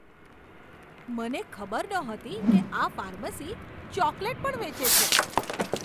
મને ખબર નહોતી કે આ ફાર્મસી ચોકલેટ પણ વેચે છે!